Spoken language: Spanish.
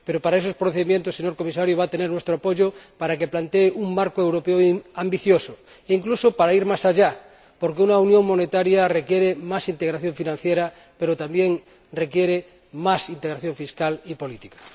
Y para esos procedimientos, señor Comisario, va a tener nuestro apoyo, para que plantee un marco europeo ambicioso e incluso para ir más allá, porque una unión monetaria requiere más integración financiera, pero también requiere más integración fiscal y política.